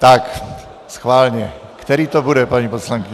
Tak schválně, který to bude, paní poslankyně.